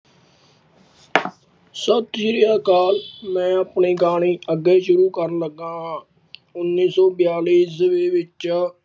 ਸਤਿ ਸ੍ਰੀ ਅਕਾਲ ਮੈਂ ਆਪਣੇ ਗਾਣੇ ਅੱਗੇ ਸ਼ੁਰੂ ਕਰਨ ਲੱਗਾ ਹਾਂ ਉੱਨੀ ਸੋ ਬਿਆਲੀ ਈਸਵੀ ਵਿੱਚ